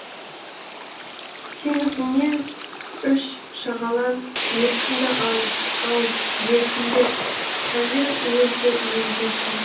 теңізіңнен үш шағалам еркімді ал ал дертіңді тәңір өзі емдесін